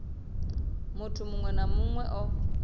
muthu muṅwe na muṅwe o